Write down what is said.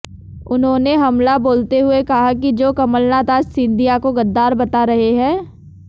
उन्होंने हमला बोलते हुए कहा की जो कमलनाथ आज सिंधिया को गद्दार बता रहें है